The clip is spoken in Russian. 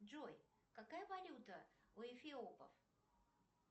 джой какая валюта у эфиопов